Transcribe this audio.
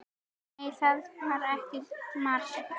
Nei, það var ekki mark.